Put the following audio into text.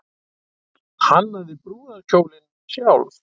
Hannaði brúðarkjólinn sjálf